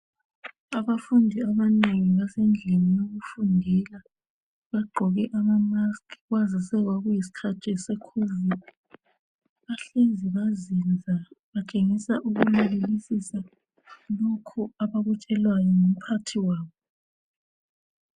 Abafundi abanengi basendlini yokufundela bagqoke ama mask kwazise kwakuyisikhathi se COVID. Bahlezi bazinza batshengisa ukulalelisisa lokho abakutshelwayo ngumphathi wabo.